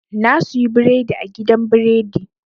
Na suyi biredi a gidan biredi.